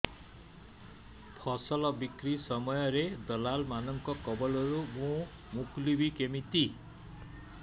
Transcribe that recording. ଫସଲ ବିକ୍ରୀ ସମୟରେ ଦଲାଲ୍ ମାନଙ୍କ କବଳରୁ ମୁଁ ମୁକୁଳିଵି କେମିତି